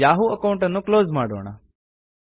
Yahoo account ಅನ್ನು close ಮಾಡೋಣ